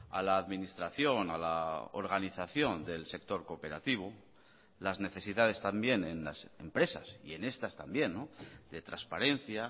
a la administración a la organización del sector cooperativo las necesidades también en las empresas y en estas también de transparencia